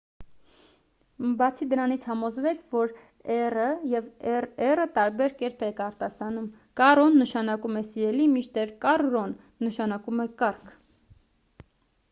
բացի դրանից՝ համոզվեք որ r-ն և rr-ն տարբեր կերպ եք արտասանում. caro-ն նշանակում է «սիրելի» մինչդեռ «carro»-ն նշանակում է կառք: